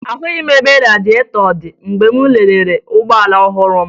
Ahụghị m ebe radịetọ dị mgbe m lelere ụgbọala ọhụrụ m